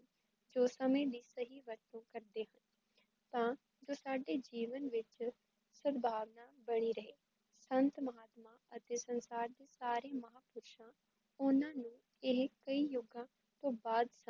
ਜੋ ਸਮੇ ਦੀ ਸਹੀ ਵਰਤੋਂ ਕਰਦੇ ਹਾਂ ਤਾਂ ਜੋ ਸਾਡੇ ਜੀਵਨ ਵਿੱਚ ਸਦਭਾਵਨਾ ਬਣੀ ਰਹੇ, ਸੰਤ ਮਹਾਤਮਾ ਅਤੇ ਸੰਸਾਰ ਦੇ ਸਾਰੇ ਮਹਾਂਪੁਰੁਸ਼ਾ ਓਹਨਾਂ ਨੂੰ ਏਹ ਕਈ ਯੋਗਾਂ ਤੋਂ ਬਾਦ